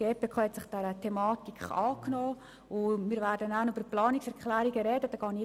Die GPK hat sich dieser Thematik angenommen und wir werden später über die Planungserklärungen sprechen.